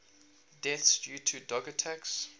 deaths due to dog attacks